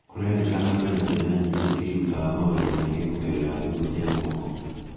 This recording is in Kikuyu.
Kũrerĩkana kwĩna ciana nyĩngĩ ciĩrutaga maũndũ maĩngĩ kũgerera thimũ cia moko.